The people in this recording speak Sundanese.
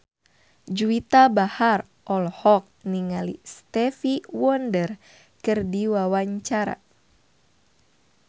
Juwita Bahar olohok ningali Stevie Wonder keur diwawancara